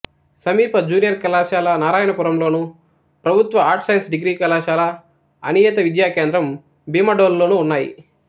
సమీప జూనియర్ కళాశాల నారాయణపురంలోను ప్రభుత్వ ఆర్ట్స్ సైన్స్ డిగ్రీ కళాశాల అనియత విద్యా కేంద్రం భీమడోలులోనూ ఉన్నాయి